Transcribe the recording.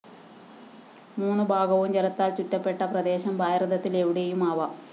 മൂന്നുഭാഗവും ജലത്താല്‍ ചുറ്റപ്പെട്ട പ്രദേശം ഭാരതത്തില്‍ എവിടെയുമാവാം